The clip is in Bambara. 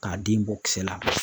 K'a den bɔ kisɛ la.